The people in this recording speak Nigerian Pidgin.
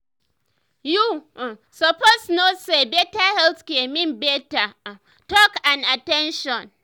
you um suppose know say better health care mean better um talk and at ten tion.